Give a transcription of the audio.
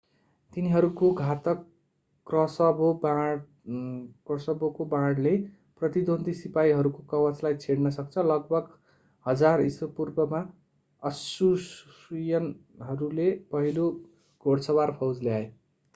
तिनीहरूको घातक क्रसबोको वाणले प्रतिद्वन्द्वी सिपाहीहरूको कवचलाई छेड्न सक्छ लगभग 1000 ईशापूर्वमा अश्शूरियनहरूले पहिलो घोडसवार फौज ल्याए